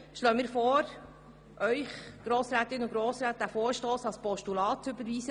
Darum schlagen wir Ihnen vor, den Vorstoss als Postulat zu überweisen.